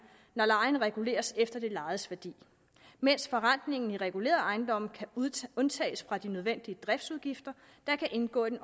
når lejen reguleres efter det lejedes værdi mens forrentningen i regulerede ejendomme kan undtages fra de nødvendige driftsudgifter der kan indgå i